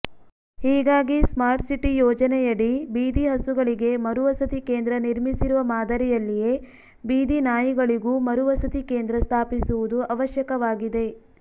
ಹೀಗಾಗಿ ಸ್ಮಾರ್ಟ್ಸಿಟಿ ಯೋಜನೆಯಡಿ ಬೀದಿ ಹಸುಗಳಿಗೆ ಮರುವಸತಿ ಕೇಂದ್ರ ನಿರ್ಮಿಸಿರುವ ಮಾದರಿಯಲ್ಲಿಯೇ ಬೀದಿ ನಾಯಿಗಳಿಗೂ ಮರುವಸತಿ ಕೇಂದ್ರ ಸ್ಥಾಪಿಸುವುದು ಅವಶ್ಯಕವಾಗಿದೆ